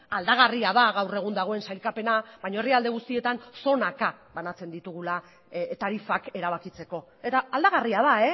aldagarria da gaur egun dagoen sailkapena baina herrialde guztietan zonaka banatzen ditugula tarifak erabakitzeko eta aldagarria da